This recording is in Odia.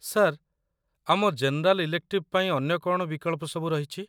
ସାର୍, ଆମ ଜେନେରାଲ ଇଲେକ୍ଟିଭ ପାଇଁ ଅନ୍ୟ କ'ଣ ବିକଳ୍ପ ସବୁ ରହିଛି?